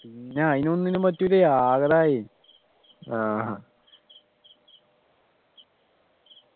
പിന്നെ അതിനൊന്നും പറ്റൂലെ ആകെ ഇതായി